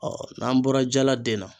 Ɔ n'an bɔra jala den na